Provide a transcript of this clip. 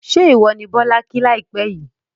ṣé ìwọ ni Bọ́lá kí láìpẹ́ yìí?